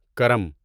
کرم